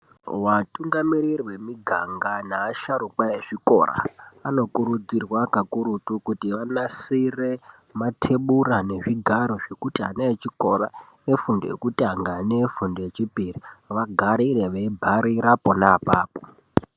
Vatungamiri vemuganga neva shauruka vezvikora anokurudzirwa kakurutu kuti vanasire matebura nezvigaro zvekuti ana vechikora efundo yekutanga nefundo yechipiri vagarire veibhala pona apapo .